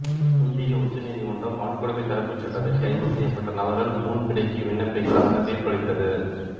இந்திய உச்ச நீதிமன்றம் வன்கொடுமைத் தடுப்புச் சட்டத்தில் கைது செய்யப்பட்ட நபர்கள் முன்பிணைக்கு விண்ணப்பிக்கலாம் என தீர்ப்பளித்தது